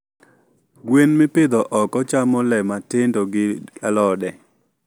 Gwen mipidho oko chamo le matindo gi alode.